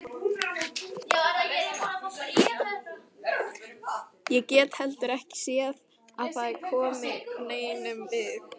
Ég get heldur ekki séð að það komi neinum við.